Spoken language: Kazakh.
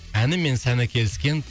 әні мен сәні келіскен